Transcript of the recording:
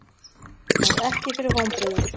Varð ekki fyrir vonbrigðum